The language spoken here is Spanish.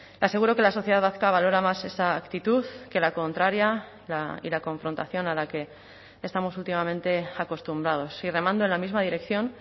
le aseguro que la sociedad vasca valora más esa actitud que la contraria y la confrontación a la que estamos últimamente acostumbrados y remando en la misma dirección